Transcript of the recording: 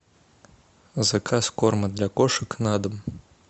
заказ корма для кошек на дом